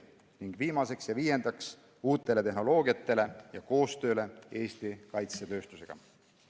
Ning viiendaks, uutele tehnoloogiatele ja koostööle Eesti kaitsetööstusega.